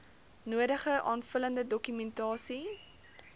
nodige aanvullende dokumentasie